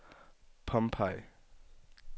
Pompeii